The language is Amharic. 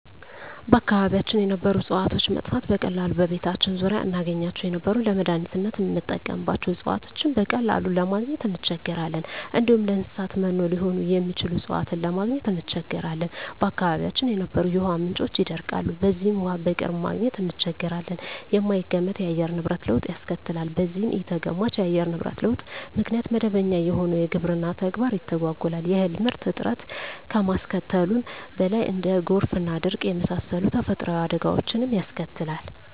በአካባቢያችን የነበሩ እጽዋቶች መጥፋት፤ በቀላሉ በቤታችን ዙሪያ እናገኛቸው የነበሩ ለመዳኒትነት ምንጠቀምባቸው እጽዋቶችን በቀላሉ ለማግኝ እንቸገራለን፣ እንዲሁም ለእንሰሳት መኖ ሊሆኑ የሚችሉ እጽዋትን ለማግኘት እንቸገራለን፣ በአካባቢያችን የነበሩ የውሃ ምንጮች ይደርቃሉ በዚህም ውሃ በቅርብ ማግኘት እንቸገራለን፣ የማይገመት የአየር ንብረት ለውጥ ያስከትላል በዚህም ኢተገማች የአየር ንብረት ለውጥ ምክንያት መደበኛ የሆነው የግብርና ተግባር ይተጓጎላል የእህል ምርት እጥረት ከማስከተሉም በላይ እንደ ጎርፍና ድርቅ የመሳሰሉ ተፈጥሮአዊ አደጋወችንም ያስከትላል።